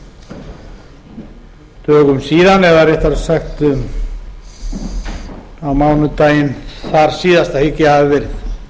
einhverjum dögum síðan eða réttara sagt á mánudaginn þarsíðasta hygg ég að það hafi verið